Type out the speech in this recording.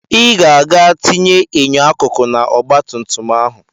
Ị ga-aga tinye enyo akụkụ n'ọgbatumtum ahụ!